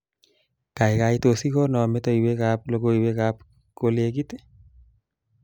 Kaikai tos ikongo metewekab logoiwekab kolekit